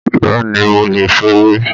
Bẹ́ẹ̀ ni, mo lè fèrè.